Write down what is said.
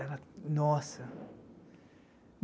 Era... Nossa.